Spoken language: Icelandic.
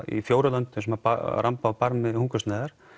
í fjórum löndum sem ramba á barmi hungursneyðar